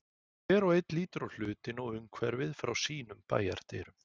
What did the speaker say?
Hver og einn lítur á hlutina og umhverfið frá sínum bæjardyrum.